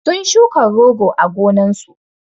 sun shuka rogo a gonnan sun